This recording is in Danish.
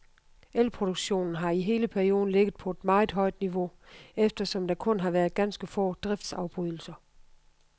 Elproduktionen har i hele perioden ligget på et meget højt niveau, eftersom der kun har været ganske få driftsafbrydelser.